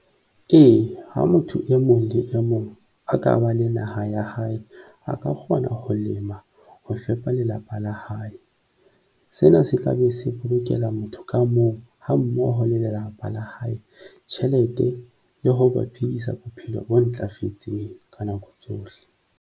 Ee, ha motho e mong le e mong a ka ba le naha ya hae, a ka kgona ho lema ho fepa lelapa la hae. Sena se tla be se bolokela motho ka mong ha mmoho le lelapa la hae tjhelete, le ho ba phedisa bophelo o ntlafetseng ka nako tsohle.